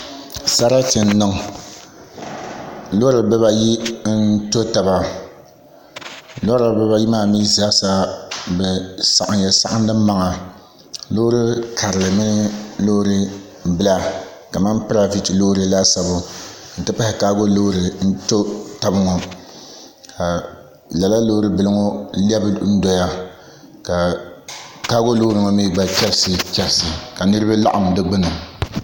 Sarati n niŋ loori bibayi n tɔ taba loori bibaayi maa mii zaasa bi saɣamya saɣandi maŋa loori karili mini loori bila kamani loori laasabu n ti pahi kaago loori n tɔ tabi ŋɔ ka lala loori bili ŋɔ lɛbi doya ka kaago loori ŋɔ mii chɛrisi chɛrisi ka niraba laɣam di gbuni